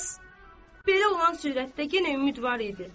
Pəs belə olan sürətdə yenə ümidvar idi.